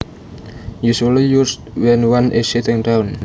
Usually used when one is sitting down